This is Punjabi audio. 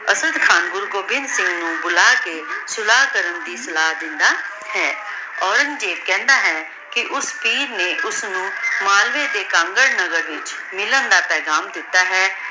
ਅਸਾਡ ਖਾਨ ਗੁਰੂ ਗੋਬਿੰਦਹ ਸਿੰਘ ਨੂ ਬੁਲਾ ਕੇ ਸੁਲਾਹ ਕਰਨ ਦੀ ਸਲਾਹ ਦੇਂਦਾ ਹੈ ਔਰੇਨ੍ਗ੍ਜ਼ੇਬ ਖੇੰਦਾ ਹੈ ਕੇ ਓਸ ਪੀਰ ਨੇ ਓਸਨੂ ਮਾਲਵੇ ਦੇ ਕੰਗਾਂ ਪੁਰ ਵਿਚ ਮਿਲਣਾ ਦਾ ਪੇਘਾਮ ਦਿਤਾ ਹੈ